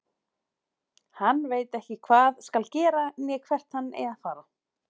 Hann veit ekki hvað skal gera né hvert hann eigi að fara.